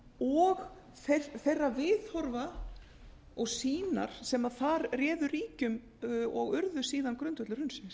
og þeirra viðhorfa og sýnar sem þar réðu ríkjum og urðu síðan grundvöllur hrunsins